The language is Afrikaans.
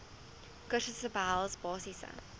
kursusse behels basiese